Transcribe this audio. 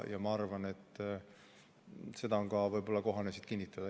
Ja ma arvan, et võib-olla on kohane seda ka siin üle kinnitada.